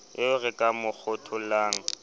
eo re ka mo kgothollang